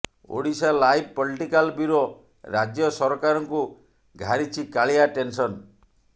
Odisha live political bureau ରାଜ୍ୟ ସରକାରଙ୍କୁ ଘାରିଛି କାଳିଆ ଟେନ୍ସନ୍